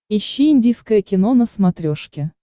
ищи индийское кино на смотрешке